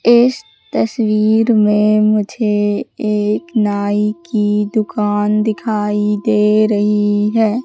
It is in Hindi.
इस तस्वीर में मुझे एक नाई की दुकान दिखाई दे रही है।